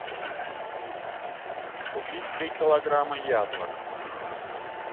купить три килограмма яблок